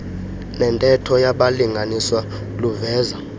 nentetho yabalinganiswa luveza